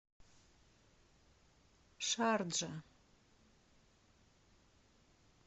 шарджа